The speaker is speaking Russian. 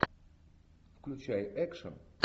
включай экшн